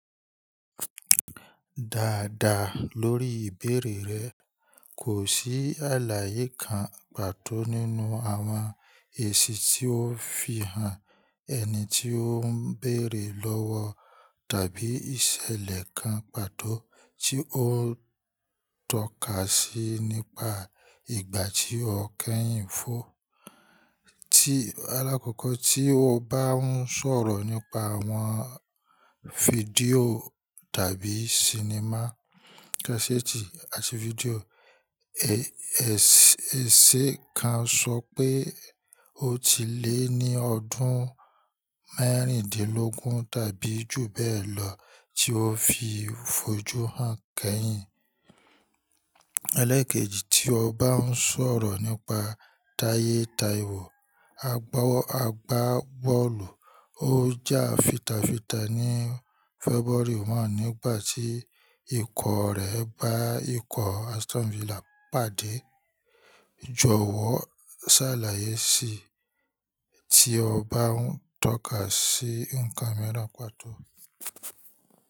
Dáadáa, lórí ìbéèrè rẹ, kò sí àlàyé kan pàtó nínú àwọn èsì tí ó fi hàn ẹni tí ó ń bèèrè lọ́wọ́ tàbí ìṣẹ̀lẹ̀ kan pàtó tí ó ń tọ́ka sí nípa ìgbà tí ọkẹ́yìn fọ́. Alákọ̀kọ́ tí o bá ń sọ̀rọ̀ nípa àwọn fídíò tàbí sinimá kasetì àti fídíò, èse kan sọ pé ó ti lé ní ọdún mẹ́rìndínlógún tàbí jù bẹ́ẹ̀ lọ tí ọ́ fi fojú hàn kẹ́yìn. Eléekèjì tí o bá ń sọ̀rọ̀ nípa táyé Taiwo, agbá bọ́ọ̀lù ó jà fìtàfìtà ní February one nígbà tí ikọ̀ rẹ bá ikọ̀ Aston Villa pàdé. Jọ̀wọ́ ṣàlàyé sí i tí o bá ń tọ́ka sí ǹkan mìíràn pàtó.